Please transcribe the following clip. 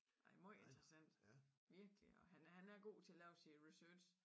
Nej meget interessant virkelig og han er han er god til at lave sin research